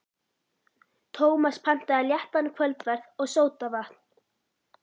Tómas pantaði léttan kvöldverð og sódavatn.